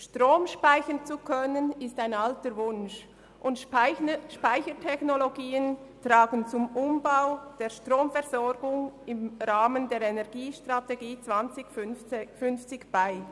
Strom speichern zu können ist ein alter Wunsch, und Speichertechnologien tragen zum Umbau der Stromversorgung im Rahmen der Energiestrategie 2050 bei.